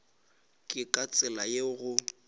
ke ka tsela yeo go